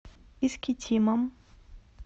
искитимом